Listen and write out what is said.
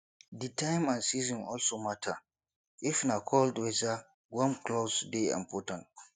di time and season also matter if na cold weather warm cloth dey important